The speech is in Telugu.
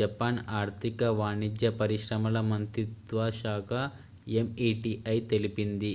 జపాన్ ఆర్థిక వాణిజ్య పరిశ్రమల మంత్రిత్వ శాఖ meti తెలిపింది